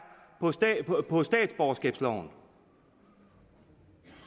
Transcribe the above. på statsborgerskabsloven